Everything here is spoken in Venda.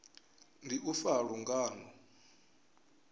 ndi u fa ha lungano